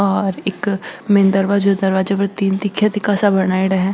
और एक मैन दरवाजो दरवाजो पर तीन तीखा तीखा सा बनायेडा है।